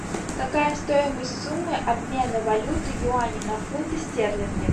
какая стоимость суммы обмена валюты юани на фунты стерлинги